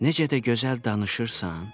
Necə də gözəl danışırsan?